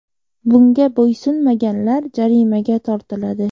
Bunga bo‘ysunmaganlar jarimaga tortiladi.